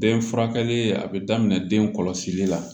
Den furakɛli a bɛ daminɛ den kɔlɔsili la